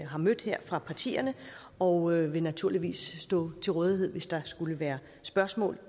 har mødt her fra partierne og vil naturligvis stå til rådighed hvis der skulle være spørgsmål